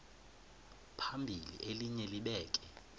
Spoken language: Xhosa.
phambili elinye libheke